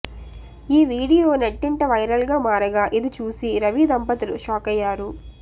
ఈ వీడియో నెట్టింట వైరల్గా మారగా ఇది చూసి రవి దంపతులు షాకయ్యారు